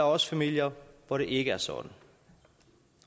også familier hvor det ikke er sådan